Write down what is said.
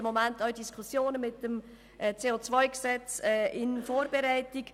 Im Moment sind die Diskussionen betreffend das CO-Gesetz in Vorbereitung.